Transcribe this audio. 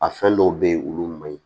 A fɛn dɔw be yen olu ma ɲi